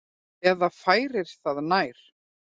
Eða færir það nær.